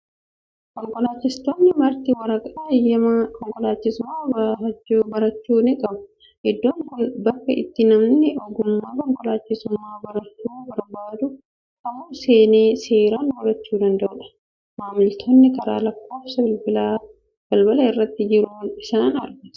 Konkolaachistoonni marti waraqaa eeyyamaa konkolaachisummaa barachuu ni qabu. Iddoon kun bakka itti namni ogummaa konkolaachisummaa barachuu barbaadu kamuu seenee seeraan barachuu danda'u dha. Maamiltoonni karaa lakkoofsa bilbilaa balbala irra jiruun isaan argatu.